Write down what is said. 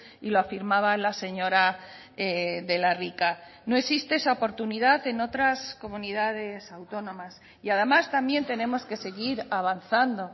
y lo afirmaba la señora de la rica no existe esa oportunidad en otras comunidades autónomas y además también tenemos que seguir avanzando